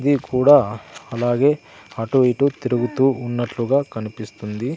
ఇది కూడా అలాగే అటు ఇటు తిరుగుతూ ఉన్నట్లుగా కనిపిస్తుంది.